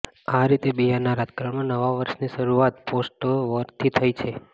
આ રીતે બિહારનાં રાજકારણમાં નવા વર્ષની શરૂઆત પોસ્ટરવોરથી થઈ છે